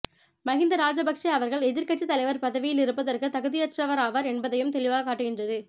மஹிந்த ராஜபக்ச அவர்கள் எதிர்க்கட்சி தலைவர் பதவியில் இருப்பதற்கு தகுதியற்றவராவார் என்பதனையும் தெளிவாக காட்டுகின்றது